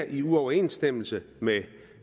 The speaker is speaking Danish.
i uoverensstemmelse med